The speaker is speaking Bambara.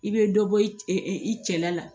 I bɛ dɔ bɔ i i cɛla la